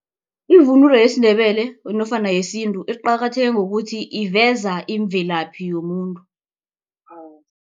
Ivunulo yesiNdebele nofana yesintu iqakatheke ngokuthi iveza imvelaphi yomuntu.